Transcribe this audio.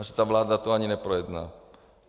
A že ta vláda to ani neprojedná.